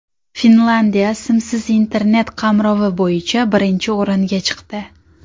Finlyandiya simsiz Internet qamrovi bo‘yicha birinchi o‘ringa chiqdi.